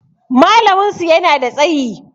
Malamin su yana da tsayi